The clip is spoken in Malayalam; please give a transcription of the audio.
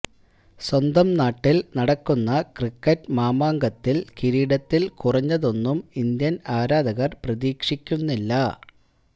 സ്വന്തം നാട്ടില് നടക്കുന്ന ക്രിക്കറ്റ് മാമാങ്കത്തില് കിരീടത്തില് കുറഞ്ഞതൊന്നും ഇന്ത്യന് ആരാധകര് പ്രതീക്ഷിക്കുന്നില്ല